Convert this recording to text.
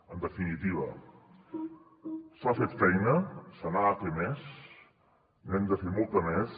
en definitiva s’ha fet feina se n’ha de fer més n’hem de fer molta més